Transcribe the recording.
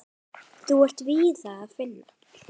Þá er víða að finna.